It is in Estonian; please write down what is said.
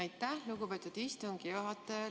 Aitäh, lugupeetud istungi juhataja!